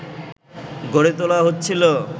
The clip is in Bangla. গড়ে তোলা হচ্ছিল